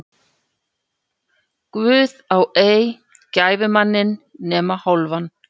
Guð á ei gæfumanninn nema hálfan.